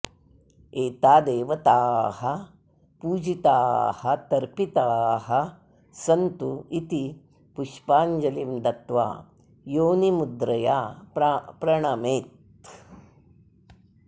एता देवताः पूजितास्तर्पिताः सन्तु इति पुष्पाञ्जलिं दत्वा योनिमुद्रया प्रणमेत्